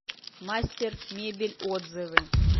мастер мебель отзывы